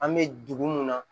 An bɛ dugu mun na